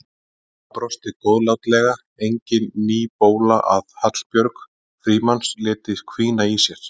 Mamma brosti góðlátlega, engin ný bóla að Hallbjörg Frímanns léti hvína í sér.